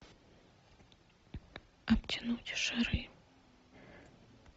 обтянуть шары